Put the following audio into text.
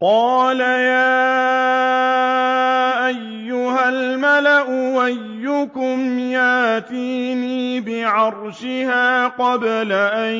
قَالَ يَا أَيُّهَا الْمَلَأُ أَيُّكُمْ يَأْتِينِي بِعَرْشِهَا قَبْلَ أَن